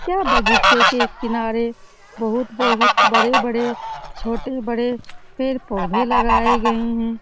यहाँ बगीचे के किनारे बहुत बहुत बड़े बड़े छोटे बड़े पेड़ पोधे लगाए गए है ।